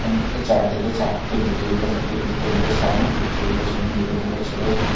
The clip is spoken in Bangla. উম চারদিকে চার-তিনটে টেবিল আছে তিনটে টেবিলের সামনে প্রতি টেবিলের সামনে দুজন করে ছেলে--